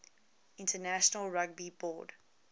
international rugby board